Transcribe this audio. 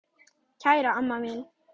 Kæra amma mín.